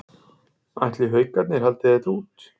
Ætli Haukarnir haldi þetta út?